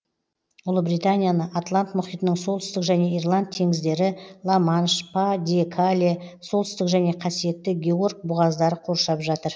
ұлыбританияны атлант мұхитының солтүстік және ирланд теңіздері ла манш па де кале солтүстік және қасиетті георг бұғаздары қоршап жатыр